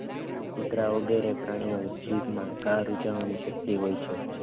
કુતરા વગેરે પ્રાણીઓ જીભમાં કાર ઉજવવાની શક્તિ હોય છે.